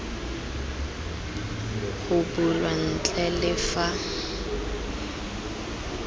go bulwa ntle le fa